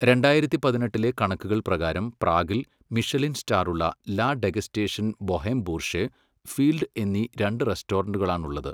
രണ്ടായിരത്തി പതിനെട്ടിലെ കണക്കുകൾ പ്രകാരം പ്രാഗിൽ മിഷെലിൻ സ്റ്റാറുള്ള La Degustation Boheme Bourgeoise, Field എന്നീ രണ്ട് റെസ്റ്റോറന്റുകളാണുള്ളത്.